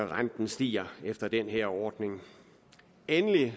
renten stiger efter den her ordning endelig